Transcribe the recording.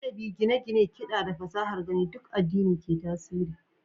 Adabi, gine-gine, kiɗa, da fasahar gani duk addini ne ke tasiri.